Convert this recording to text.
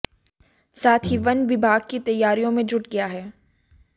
साथ ही वन विभाग भी तैयारियों में जुट गया है